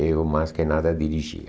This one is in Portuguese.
Eu, mais que nada, dirigia.